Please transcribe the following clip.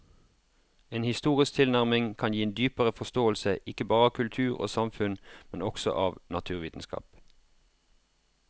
En historisk tilnærming kan gi en dypere forståelse ikke bare av kultur og samfunn, men også av naturvitenskap.